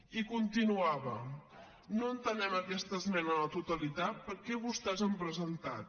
i continuava no entenem aquesta esmena a la totalitat que vostès han presentat